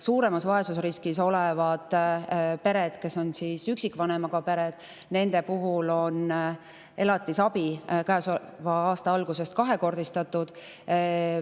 Suuremas vaesusriskis olevate perede ehk üksikvanemaga perede elatisabi on käesoleva aasta algusest alates kahekordistatud.